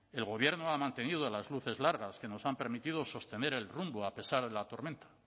el gobierno ha mantenido las luces largas que nos han permitido sostener el rumbo a pesar de la tormenta